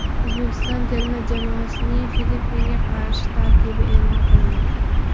O‘zbekiston terma jamoasining Filippinga qarshi tarkibi e’lon qilindi.